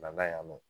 Bana in nɔ